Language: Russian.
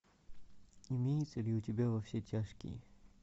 имеется ли у тебя во все тяжкие